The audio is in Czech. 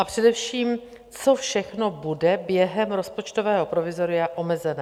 A především, co všechno bude během rozpočtového provizoria omezené?